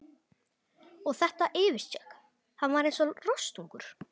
Og þetta yfirskegg, hann var eins og rostungur.